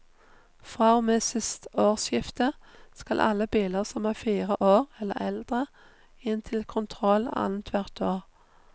Fra og med sist årsskifte skal alle biler som er fire år eller eldre inn til kontroll annethvert år.